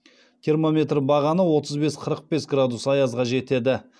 термометр бағаны отыз бес қырық екі градус аязға жетеді